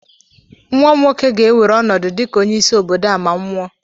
Nwa m nwoke ga-ewere ọnọdụ dịka onye-isi obodo a ma m nwụọ